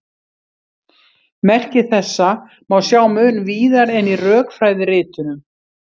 Merki þessa má sjá mun víðar en í rökfræðiritunum.